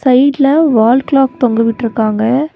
சைடுல wall clock தொங்க விட்ருக்காங்க.